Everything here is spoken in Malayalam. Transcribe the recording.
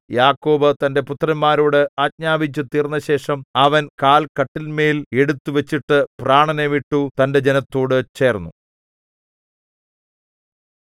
യാക്കോബ് തന്റെ പുത്രന്മാരോട് ആജ്ഞാപിച്ചു തീർന്നശേഷം അവൻ കാൽ കട്ടിലിന്മേൽ എടുത്തു വച്ചിട്ടു പ്രാണനെ വിട്ടു തന്റെ ജനത്തോടു ചേർന്നു